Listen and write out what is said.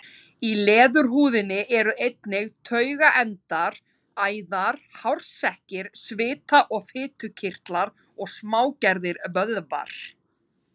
Í leðurhúðinni eru einnig taugaendar, æðar, hársekkir, svita- og fitukirtlar og smágerðir vöðvar.